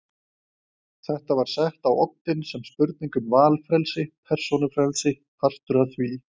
Þetta var sett á oddinn sem spurning um valfrelsi, persónufrelsi, partur af því.